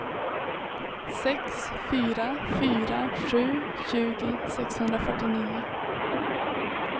sex fyra fyra sju tjugo sexhundrafyrtionio